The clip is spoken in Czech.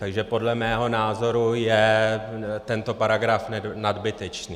Takže podle mého názoru je tento paragraf nadbytečný.